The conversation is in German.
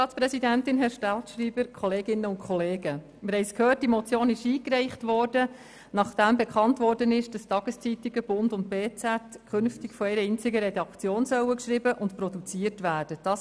Die Motion wurde eingereicht, nachdem bekannt geworden war, dass die Tageszeitungen «Der Bund» und «Berner Zeitung» künftig von einer einzigen Redaktion geschrieben und produziert werden sollen.